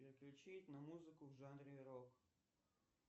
переключи на музыку в жанре рок